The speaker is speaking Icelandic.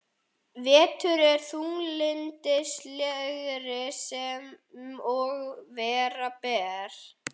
Vetur er þunglyndislegri sem og vera ber.